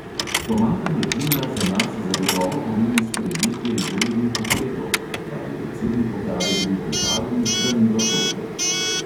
"Pomanjkanje plina za nas zagotovo pomeni sprejetje izrednih ukrepov," pravi predsednik uprave družbe talum danilo toplek.